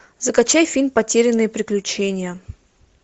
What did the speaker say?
закачай фильм потерянные приключения